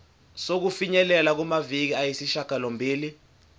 sokufinyelela kumaviki ayisishagalombili